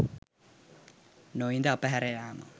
නොඉඳ අප හැර යාම